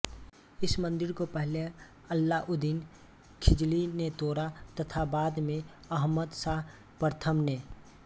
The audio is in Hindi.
इस मन्दिर को पहले अलाउद्दीन खिलजी ने तोड़ा तथा बाद में अहमद शाह प्रथम ने